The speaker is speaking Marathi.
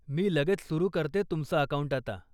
मी लगेच सुरु करते तुमचा अकाऊंट आता.